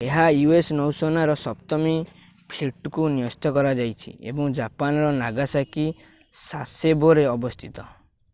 ଏହା u.s. ନୌସେନାର ସପ୍ତମ ଫ୍ଲୀଟକୁ ନ୍ୟସ୍ତ କରାଯାଇଛି ଏବଂ ଜାପାନ ର ନାଗାସାକି ଶାସେବୋ ରେ ଅବସ୍ଥିତ